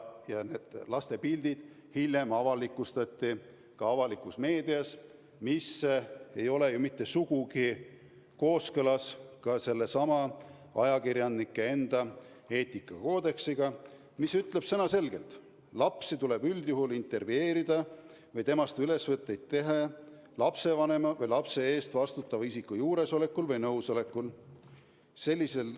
Ja laste pildid hiljem avalikustati avalikus meedias, mis ei ole ju mitte sugugi kooskõlas sellesama ajakirjanike enda eetikakoodeksiga, mis ütleb selge sõnaga: lapsi tuleb üldjuhul intervjueerida või neist ülesvõtteid teha lapsevanema või muu lapse eest vastutava isiku juuresolekul või nõusolekul.